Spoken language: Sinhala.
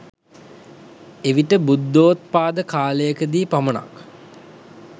එවිට බුද්ධොත්පාද කාලයකදී පමණක්